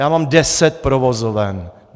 Já mám deset provozoven.